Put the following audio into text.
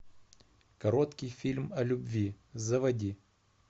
короткий фильм о любви заводи